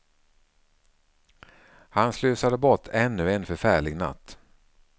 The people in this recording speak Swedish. Han slösade bort ännu en förfärlig natt.